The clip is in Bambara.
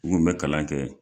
N kun bɛ kalan kɛ.